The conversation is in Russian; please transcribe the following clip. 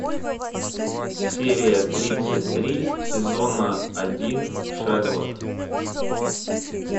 серия тридцать три сезона один шерлок